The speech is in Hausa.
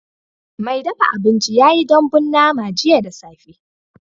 Mai dafa abinci ya yi dambun nama jiya da safe